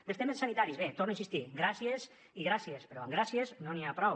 dels temes sanitaris bé hi torno a insistir gràcies i gràcies però amb gràcies no n’hi ha prou